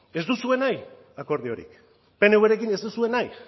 ez duzue nahi akordiorik pnvrekin ez duzue nahi